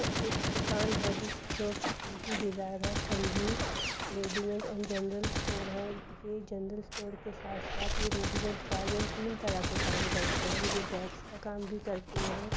यह एक दुकान है जिस जोकि डिजायर है| Sanjeev readymade and general store है| ये जनरल स्टोर के साथ साथ ये रेडीमेड गारमेंट तीन तरह का काम करते हैं| ये बैग्स का काम भी करते है।